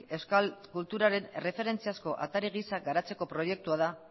euskal kulturaren erreferentziazko atari gisa garatzeko proiektua da